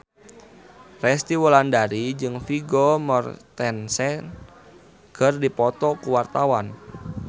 Resty Wulandari jeung Vigo Mortensen keur dipoto ku wartawan